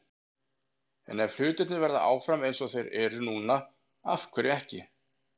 En ef hlutirnir verða áfram eins og þeir eru núna- af hverju ekki?